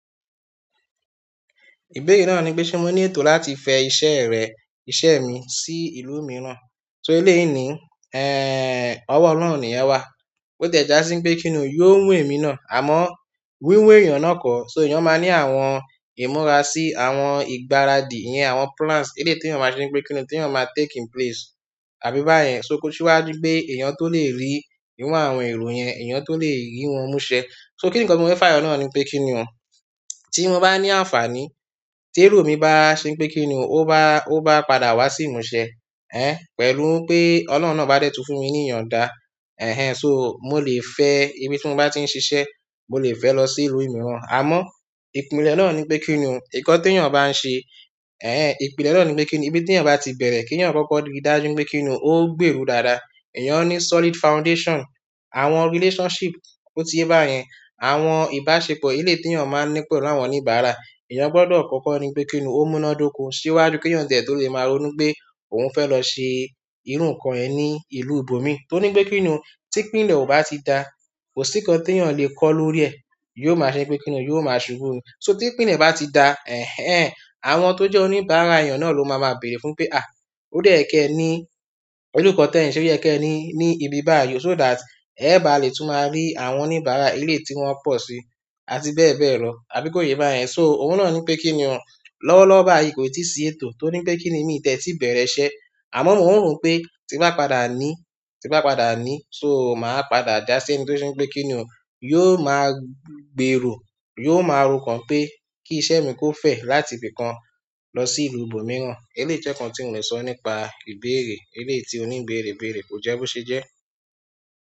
Ìbéèrè náà ni pé ṣé mo ní ètò láti fẹ iṣẹ́ rẹ, iṣẹ́ mi sí ìlú mìíràn? Sọ eléyìí ni, ẹ, ọwọ́ Ọlọ́run nìyẹn wà. Ó tẹ̀ ẹ já sí bí kí ni yóò mú ẹ̀mí náà, àmọ́ wíwẹ̀ èèyàn náà kò, sọ èèyàn máa ni àwọn ìmúra sí àwọn ìgbáradì yẹn, àwọn plans eléyìí tí wọ́n máa ṣe pé kí ni tí wọ́n máa take in place, àbí bá yẹn. Sọ kò sí wa ju pé èèyàn tó lè rí inú àwọn ẹ̀rọ yẹn, èèyàn tó lè rí wọ́n mú ṣe. Sọ kí nǹkan tí mo fẹ́ fayọ̀ Ọlọ́run ni pé kí ni òun, tí mo bá ní àǹfàní, ti èrò mi bá ṣe pé kí ni òun, ó bá, ò bá padà wá sí ìmúṣẹ, ẹ, pẹ̀lú pé Ọlọ́run náà bá détú fún mi ní ìyàndá, ẹ̀hen. Sọ mo lè fẹ́ ibí tí mo bá ti ń ṣiṣẹ́, mo lè fẹ́ lọ sí ìlú mìíràn. Àmọ́ ìpìlẹ̀ náà ni pé kí ni òun, nǹkan tí èèyàn bá ń ṣe, ẹ̀hń ẹ̀hń, ìpìlẹ̀ náà ni pé kí ni ibí tí èèyàn bá ti bẹ̀rẹ̀ kí èèyàn kọ́kọ́ rí dájú pé kí ni òun ò gbèrú dáadáa. Èèyàn ní solid foundation, àwọn relationship, ó tí í yẹ bá yẹn, àwọn ìbáṣepọ̀ eléyìí tí èèyàn máa ń ní pẹ̀lú àwọn oníbàárà, èèyàn gbọ́dọ̀ kọ́kọ́ rí pé kí ni òun ó múná dóko síwájú kí èèyàn jẹ tó lè má ronú pé òun fẹ́ lọ ṣe irú nǹkan yẹn ní ìlú ibomì. Tó ni pé kí ni òun tí ìpìlẹ̀ ó bá ti dá, kò sí nǹkan ti èèyàn lè kó lórí ẹ̀, yóò máa ṣe pé kí ni òun, yóò máa ṣubú. Sọ tí ìpìlẹ̀ bá ti dá, ẹ̀hen, àwọn tó jẹ́ oníbàárà èèyàn náà ló máa má béèrè fún pé a, ó dé yẹkẹ́ẹ̀ ni pẹ̀lú nǹkan tẹ ń ṣe, ó yẹkẹ́ẹ̀ ní, ní ibí bá yìí ó sọ that ẹ bá lè tún máa rí àwọn oníbàárà eléyìí tí wọ́n pọ̀ síi àti bẹ́ẹ̀ bẹ́ẹ̀ lọ, àbí kò yẹ bá yẹn? Sọ ohun náà ni pé kí ni òun, lọ́wọ́lọ́wọ́ báyìí kò tíì sí ètò torí pé kí ni mi ò tẹ́tí bẹ̀rẹ̀ iṣẹ́. Àmọ́ mò ń rò pé ti bá padà ní, ti bá padà ní, sọ máa padà já sí nǹkan tí ó ṣe pé kí ni òun yóò máa gbèrò, yóò máa rọ̀ kan pé kí iṣẹ́ mi kò fẹ́ láti ibìkan lọ sí ìlú ibòmíràn. Eléyìí jẹ́ nǹkan tí mo lè sọ nípa ìbéèrè, eléyìí tí onígbéèrè bẹẹrẹ. Kò jẹ́ bó ṣe jẹ́